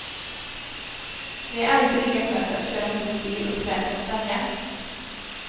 Det är alltid lika skönt att köra ombord bil och släp på en färja.